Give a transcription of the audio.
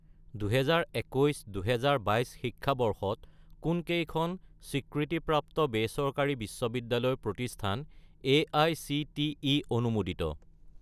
2021 - 2022 শিক্ষাবৰ্ষত কোনকেইখন স্বীকৃতিপ্ৰাপ্ত বেচৰকাৰী বিশ্ববিদ্যালয় প্ৰতিষ্ঠান এআইচিটিই অনুমোদিত?